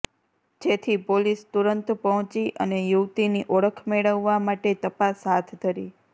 જેથી પોલીસ તુરંત પહોંચી અને યુવતીની ઓળખ મેળવવા માટે તપાસ હાથ ધરી